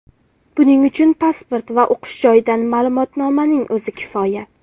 Buning uchun pasport va o‘qish joyidan ma’lumotnomaning o‘zi kifoya.